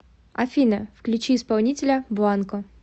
афина включи исполнителя бланко